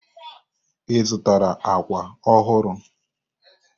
Ị zụtara àkwà ọhụrụ?